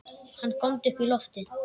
Hann góndi upp í loftið!